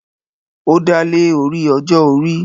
ó dálé orí ọjọ́-orí